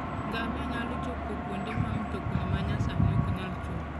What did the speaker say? Ngamia nyalo chopo kuonde ma mtokni ma nyasani ok nyal chope.